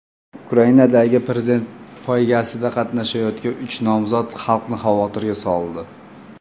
Ukrainadagi prezidentlik poygasida qatnashayotgan uch nomzod xalqni xavotirga soldi.